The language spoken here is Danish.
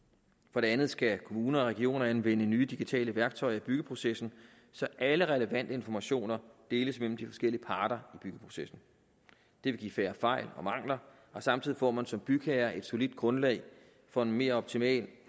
for det andet skal kommunerne og regionerne anvende nye digitale værktøjer i byggeprocessen så alle relevante informationer deles mellem de forskellige parter i byggeprocessen det vil give færre fejl og mangler og samtidig får man som bygherre et solidt grundlag for en mere optimal